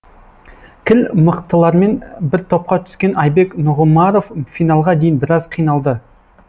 кіл мықтылармен бір топқа түскен айбек нұғымаров финалға дейін біраз қиналды